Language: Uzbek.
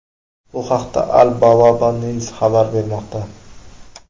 Bu haqda Al-Bawaba News xabar bermoqda .